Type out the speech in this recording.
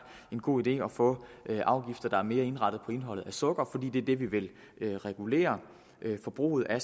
en god idé at få afgifter der er mere indrettet på indholdet af sukker fordi det er det vi vil regulere forbruget af